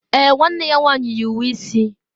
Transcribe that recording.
Èè, nwanne ya nwanyị yi uwe isi.